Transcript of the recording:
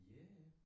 Ja ja